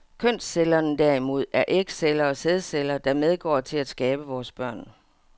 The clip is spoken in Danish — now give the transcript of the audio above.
Kønscellerne derimod er ægceller og sædceller, der medgår til at skabe vores børn.